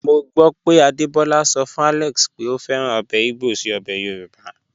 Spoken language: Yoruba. Mo gbọ pé Adebola sọ fun Alex pé o fẹ́ràn obè igbo sí obè Yorùbá.